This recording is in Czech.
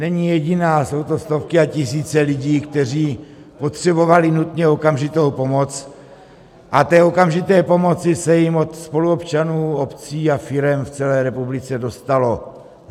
Není jediná, jsou to stovky a tisíce lidí, kteří potřebovali nutně okamžitou pomoc, a té okamžité pomoci se jim od spoluobčanů, obcí a firem z celé republiky dostalo.